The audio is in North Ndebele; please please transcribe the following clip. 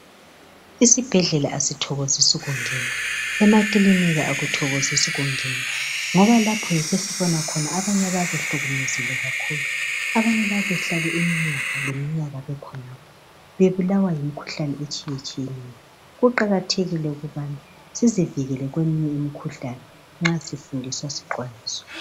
Isibhedlela asithokozisi ukungena, emakilinika akuthokozisi ukungena ngoba lapho yikho esihlolwa khona, abanye bayabe behlukuluzekile kakhulu, abanye bayabe behlale iminyaka leminyaka bekhonapho, bebulawa yimkhuhlane etshiyatshiyeneyo. Kuqakathekile ukuba sizivikele kweminye imikhuhlane nxa sifundiswa siqondiswa.